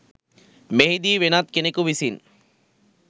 මෙහිදී වෙනත් කෙනෙකු විසින්